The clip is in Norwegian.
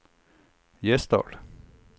Gjesdal